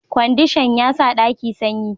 Kwandishan ya sa ɗaki sanyi